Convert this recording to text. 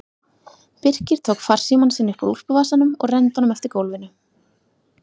Birkir tók farsímann sinn upp úr úlpuvasanum og renndi honum eftir gólfinu.